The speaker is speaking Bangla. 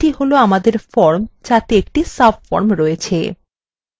সুতরাং এটি হল আমাদের form যাতে একটি subform রয়েছে